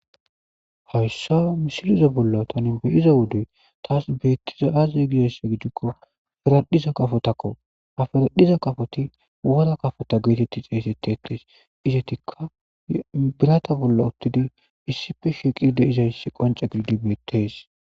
Hayssa misileza bolla thani be7iza wode thassi beethiza aazee gizayssa gidikko haradhdhiza kafothakoo; ha haradhdhiza kafothi wora kafotha geetheththi xeeseththeeththes;izethikka biretha bolla issippe shiiqidi de7izayssi qoncce gididi beeththees.